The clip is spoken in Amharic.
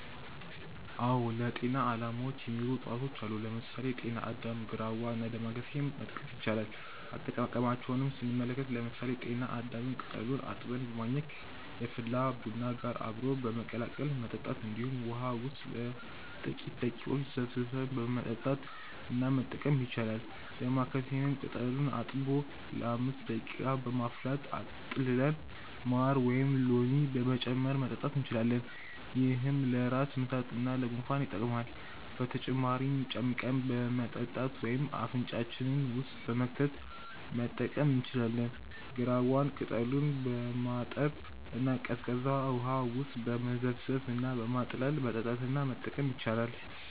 አዎ ለጤና አላማዎች የሚውሉ እፅዋቶች አሉ። ለምሳሌ: ጤና አዳም፣ ግራዋ እና ዳማከሴ መጥቀስ ይቻላል። አጠቃቀማቸውንም ስንመለከት ለምሳሌ ጤና አዳምን ቅጠሉን አጥበን በማኘክ፣ የፈላ ቡና ጋር አብሮ በመቀላቀል መጠጣት እንዲሁም ውሃ ውስጥ ለጥቂተረ ደቂቃዎች ዘፍዝፈን በመጠጣት እና መጠቀም ይቻላል። ዳማከሴንም ቅጠሉን አጥቦ ለ5 ደቂቃ በማፍላት አጥልለን ማር ወይም ሎሚ በመጨመር መጠጣት እንችላለን። ይህም ለራስ ምታት እና ለጉንፋን ይጠቅማል። በተጨማሪም ጨምቀን በመጠጣት ወይም አፍንጫችን ውስጥ በመክተት መጠቀም እንችላለን። ግራዋን ቅጠሉን በማጠብ እና ቀዝቃዛ ውሃ ውስጥ በመዘፍዘፍ እና በማጥለል መጠጣት እና መጠቀም ይቻላል።